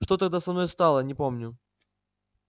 что тогда со мною стало не помню